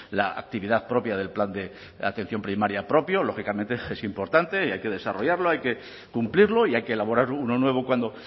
la actividad propia del plan de atención primaria propio lógicamente es importante y hay que desarrollarlo hay que cumplirlo y hay que elaborar uno nuevo cuando